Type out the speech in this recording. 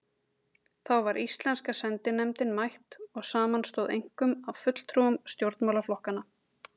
Þá var íslenska sendinefndin mætt og samanstóð einkum af fulltrúum stjórnmálaflokkanna